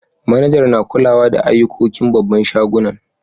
Manajar na kulawa da ayukokin babban shagunan.